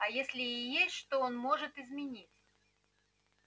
а если и есть что он может изменить